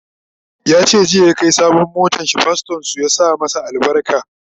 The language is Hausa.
yace jiya ya Kai sabon motanshi pastorn su ya sa masa albarka